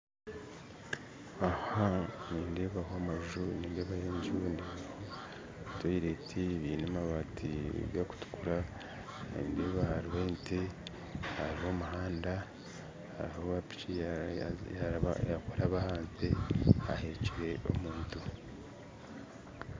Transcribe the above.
Aha nindeebaho amanju ndeebaho ezindi toyireti zaine amabaati gakutukura ndeeba hariho ente hariho omuhanda hariho owa piiki yakuraba aha nte ahekire omuntu